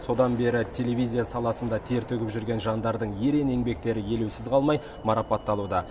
содан бері телевизия саласында тер төгіп жүрген жандардың ерен еңбектері елеусіз қалмай марапатталуда